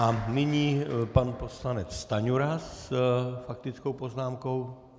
A nyní pan poslanec Stanjura s faktickou poznámkou.